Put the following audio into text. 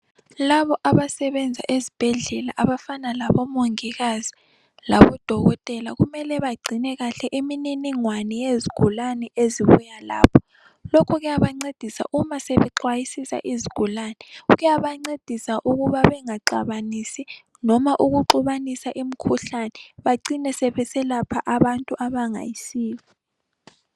Labo abasenza ezibhedlela abafana labomongikazi labodokotela kumele bagcine kahle imininingwane yezigulani ezibuya lapho. Lokho kuyabancedisa uma sebexwayisisa izigulani. Kuyabancedisa ukuba bengaxabanisi noma ukuxubanisa imikhuhlane bacine sebeselapha abantu abangayisibo.